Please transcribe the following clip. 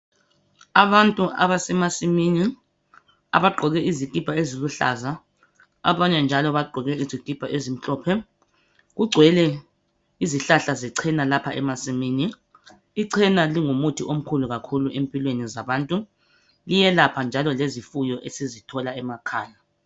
Abantu abasemasimini, abagqoke izikipa eziluhlaza, abanye njalo bagqoke izikipa ezimhlophe. Kugcwele izihlahla zechena lapha emasimini. Ichena lingumuthi omkhulu kakhulu empilweni zabantu. Liyelapha njalo lezifuyo esizithola emakhaya.